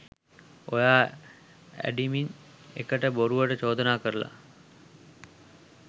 ඔයා ඇඩිමින් එකට බොරුවට චෝදනා කරලා